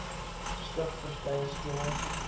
stig verskeie skemas